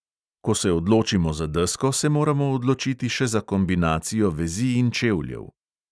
Ko se odločimo za desko, se moramo odločiti še za kombinacijo vezi in čevljev.